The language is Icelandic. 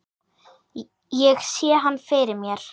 Ég sé hann fyrir mér.